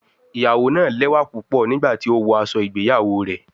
Iyawo naa lẹwa pupọ nigbati o wọ aṣọ igbeyawo rẹ